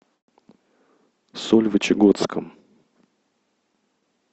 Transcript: сольвычегодском